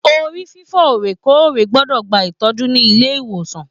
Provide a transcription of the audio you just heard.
Orí fifọ orekoore gbọdọ gbà ìtọjú nílé ìwòsàn.